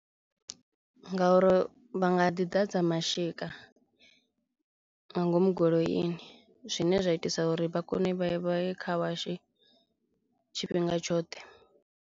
Ngauri vha nga ḓi ḓadza mashika nga ngomu goloini zwine zwa itisa uri vhakone vhaye vha ye car wash tshifhinga tshoṱhe.